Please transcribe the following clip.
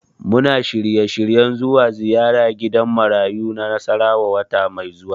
Muna shirye-shiryen zuwa ziyara gidan marayu na Nasarawa wata mai zuwa.